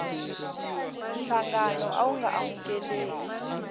nhlangano a wu nga amukeli